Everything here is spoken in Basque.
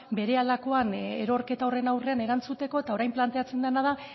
berehalakoan erorketa horren aurrean erantzuteko eta orain planteatzen dena da